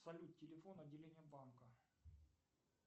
салют телефон отделения банка